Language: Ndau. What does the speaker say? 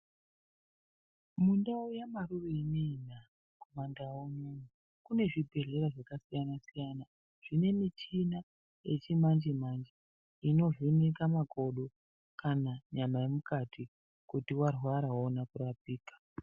Mundau yamarure ineyina kumandau unono kune zvibhedhlera zvakasiyana -siyana zvine michina yechimanje-manje inovheneka makodo kana nyama yemukati kuti warwara woona kurapika.